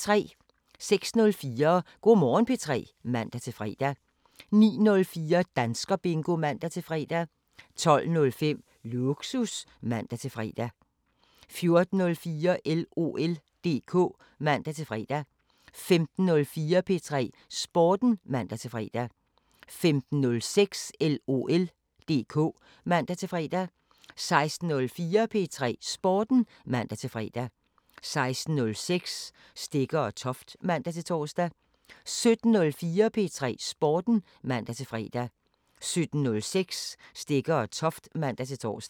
06:04: Go' Morgen P3 (man-fre) 09:04: Danskerbingo (man-fre) 12:05: Lågsus (man-fre) 14:04: LOL DK (man-fre) 15:04: P3 Sporten (man-fre) 15:06: LOL DK (man-fre) 16:04: P3 Sporten (man-fre) 16:06: Stegger & Toft (man-tor) 17:04: P3 Sporten (man-fre) 17:06: Stegger & Toft (man-tor)